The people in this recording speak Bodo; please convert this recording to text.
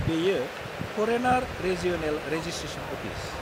बेयो फरेनार रेजिअ'नेल रेजिस्ट्रेसन अफिस।